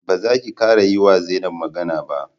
Ba zaki kara yiwa Zainab magana ba!